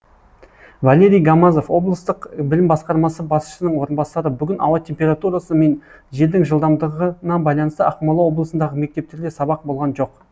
валерий гамазов облыстық білім басқармасы басшысының орынбасары бүгін ауа температурасы мен желдің жылдамдығына байланысты ақмола облысындағы мектептерде сабақ болған жоқ